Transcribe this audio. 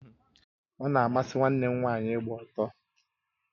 Ona amasị nwanne m nwaanyị ịgba ọtọ